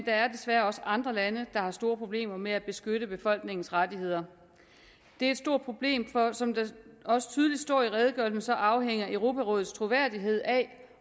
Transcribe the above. er desværre også andre lande der har store problemer med at beskytte befolkningernes rettigheder det er et stort problem for som det også tydeligt står i redegørelsen afhænger europarådets troværdighed af